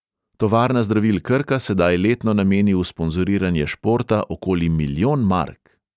Tovarna zdravil krka sedaj letno nameni v sponzoriranje športa okoli milijon mark.